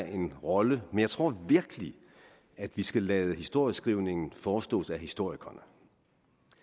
en rolle men jeg tror virkelig at vi skal lade historieskrivningen forestået af historikerne